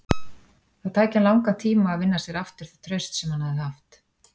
Það tæki hann langan tíma að vinna sér aftur það traust sem hann hafði haft.